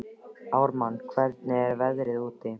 Ármann, hvernig er veðrið úti?